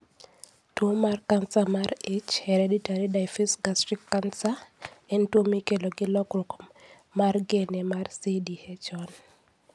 Tuo mar kansa mar ich (hereditary diffuse gastric cancer) (HDGC) en tuwo mikelo gi lokruok mar gene mar CDH1.